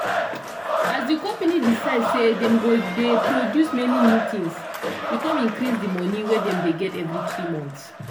as di company decide say dem go gey produce many new things. e com increase di money wey dem dey get every 3 months.